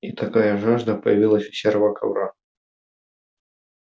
и такая жажда появилась у серого ковра